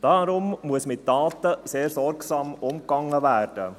Deshalb muss mit Daten sehr sorgsam umgegangen werden.